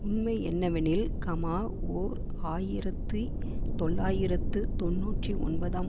உண்மை என்னவெனில் கமா ஓர் ஆயிரத்தி தொள்ளாயிரத்து தொன்னூற்றி ஒன்பதாம்